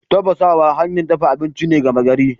Tafasawa hanyar dafa abinci ce gama gari.